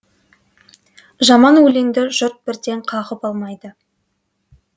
жаман өлеңді жұрт бірден қағып алмайды